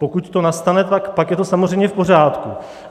Pokud to nastane, tak pak je to samozřejmě v pořádku.